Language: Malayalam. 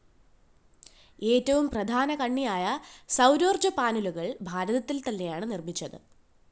ഏറ്റവും പ്രധാനകണ്ണിയായ സൗരോര്‍ജ്ജ പാനലുകള്‍ ഭാരതത്തില്‍ തന്നെയാണ് നിര്‍മ്മിച്ചത്